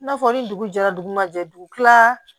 I n'a fɔ ni dugu jɛra dugu ma jɛ dugu tila